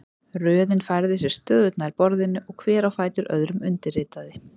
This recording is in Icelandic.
Röðin færði sig stöðugt nær borðinu og hver á fætur öðrum undirritaði.